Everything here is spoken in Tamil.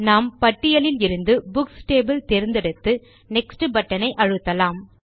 நாம் பட்டியலில் இருந்து புக்ஸ் டேபிள் தேர்ந்தெடுத்து நெக்ஸ்ட் பட்டன் ஐ அழுத்தலாம்